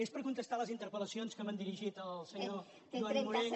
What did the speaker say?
és per contestar a les interpellacions que m’ha dirigit el senyor joan morell